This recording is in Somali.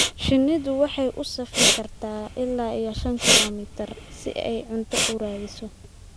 Shinnidu waxay u safri kartaa ilaa shan kiilomitir si ay cunto u raadiso.